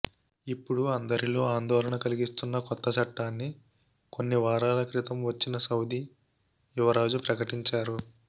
ఇప్పుడు అందరిలో ఆందోళన కలిగిస్తున్న కొత్త చట్టాన్ని కొన్ని వారాల క్రితం వచ్చిన సౌదీ యువరాజు ప్రకటించారు